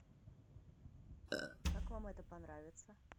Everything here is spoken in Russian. как вам это понравится